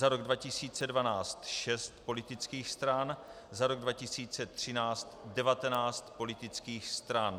- Za rok 2012 šest politických stran, za rok 2013 devatenáct politických stran.